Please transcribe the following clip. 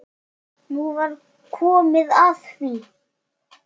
Nú var komið að því!